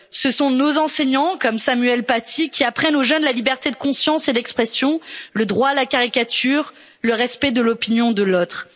Ce sont nos enseignants, comme Samuel Paty, qui apprennent aux jeunes la liberté de conscience et d'expression, le droit à la caricature, le respect de l'opinion de l'autre.